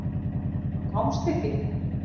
Þú komst ekki.